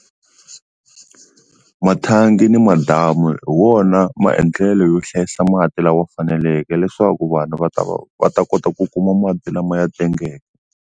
Mathangi ni madamu hi wona maendlelo yo hlayisa mati lama faneleke leswaku vanhu va ta va ta kota ku kuma mati lama ya tengeke.